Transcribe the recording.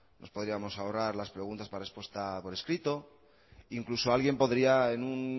nos podríamos ahorrar las preguntas para respuesta por escrito incluso alguien podría en un